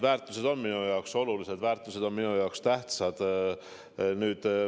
Väärtused on minu jaoks olulised, väärtused on minu jaoks tähtsad.